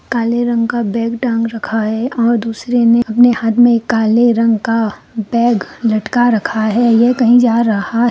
काले रंग का बैग टांग रखा है और दूसरे ने अपने हाथ में काले रंग का बैग लटका रखा है| यह कहीं जा रहा--